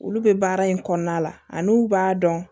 Olu bɛ baara in kɔnɔna la ani u b'a dɔn